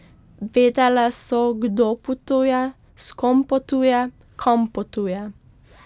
Vedele so, kdo potuje, s kom potuje, kam potuje.